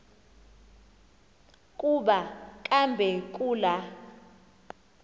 kuba kambe kula